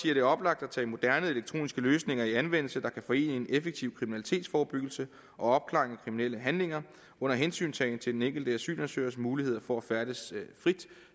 er det oplagt at tage moderne elektroniske løsninger i anvendelse der kan forene en effektiv kriminalitetsforebyggelse og opklaring kriminelle handlinger under hensyntagen til den enkelte asylansøgers muligheder for at færdes frit